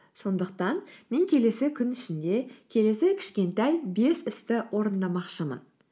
сондықтан мен келесі күн ішінде келесі кішкентай бес істі орындамақшымын